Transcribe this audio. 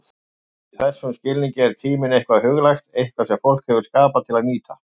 Í þessum skilningi er tíminn eitthvað huglægt, eitthvað sem fólk hefur skapað til að nýta.